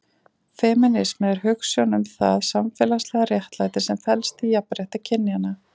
Femínismi er hugsjón um það samfélagslega réttlæti sem felst í jafnrétti kynjanna.